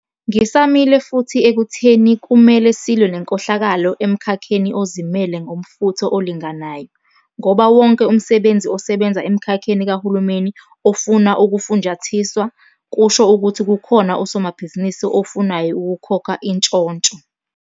Ngisamile futhi ekutheni kumele silwe nenkohlakalo emkhakheni ozimele ngomfutho olinganayo, ngoba wonke umsebenzi osebenza emkhakheni kahulumeni ofuna ukufunjathiswa, kusho ukuthi kukhona usomabhizinisi ofunayo ukukhokha intshontsho.